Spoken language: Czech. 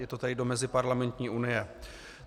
Je to tedy do Meziparlamentní unie.